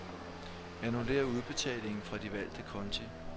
Annullér udbetalingen fra de valgte konti.